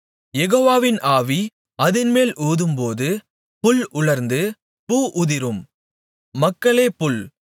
யெகோவாவின் ஆவி அதின்மேல் ஊதும்போது புல் உலர்ந்து பூ உதிரும் மக்களே புல்